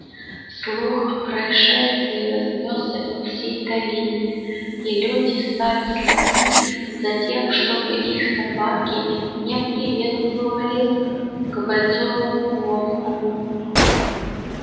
слух о происшествии разнёсся по всей долине и люди стали следить за тем чтобы их собаки не приветствовали к бойцовому волку